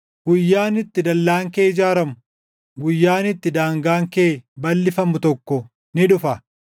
Guyyaan itti dallaan kee ijaaramu, guyyaan itti daangaan kee balʼifamu tokko ni dhufa.